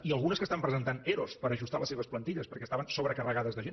i algunes que estan presentant ero per ajustar les seves plantilles perquè estaven sobrecarregades de gent